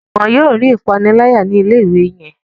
Juwon yóò rí ìpaniláyà ni ilé ìwé yén.